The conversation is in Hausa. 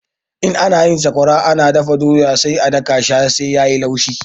In za ayi sakwara ana dafa doya sai a daka shi har sai yayi laushi